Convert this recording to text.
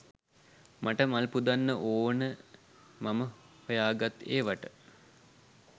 මට මල් පුදන්න ඕන මම සොයාගත් ඒවට.